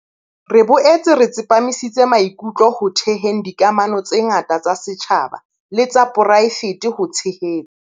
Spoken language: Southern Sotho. Re boetse re tsepamisitse maikutlo ho theheng dikamano tse ngata tsa setjhaba le tsa poraefete ho tshehetsa.